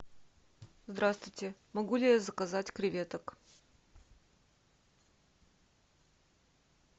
здравствуйте могу ли я заказать креветок